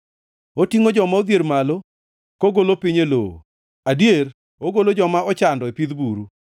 Otingʼo joma odhier malo kogolo piny e lowo; adier, ogolo joma ochando e pidh buru,